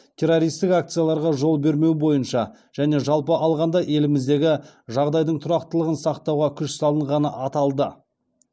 террористік акцияларға жол бермеу бойынша және жалпы алғанда еліміздегі жағдайдың тұрақтылығын сақтауға күш салынғаны аталды